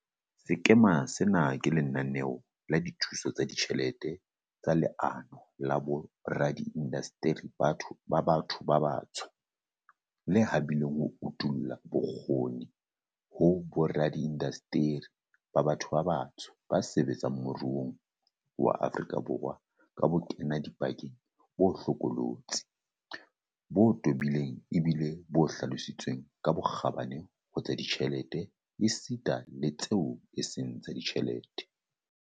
Sekema sena ke lenaneo la dithuso tsa ditjhelete tsa Leano la Boradiindasteri ba Batho ba Batsho, le habileng ho utolla bokgoni ho boradiindasteri ba batho ba batsho ba sebetsang moruong wa Aforika Borwa ka bokenadipakeng bo hlokolo tsi, bo tobileng ebile e le bo hlalositsweng ka bokgabane ho tsa ditjhelete esita le tseo e seng tsa ditjhelete.